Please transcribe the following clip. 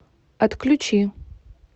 отключи